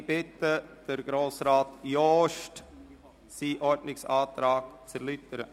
Ich bitte Grossrat Jost, seinen Ordnungsantrag zu erläutern.